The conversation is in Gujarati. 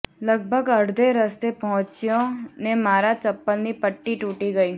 લગભગ અડધે રસ્તે પહોંચ્યો ને મારા ચંપલની પટ્ટી તુટી ગઈ